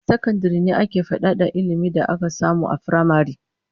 A sakandare ne ake fadada ilmin da aka samu a firamare